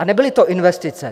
A nebyly to investice.